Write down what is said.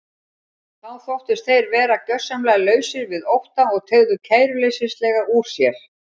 Þá þóttust þeir vera gjörsamlega lausir við ótta og teygðu kæruleysislega úr sér.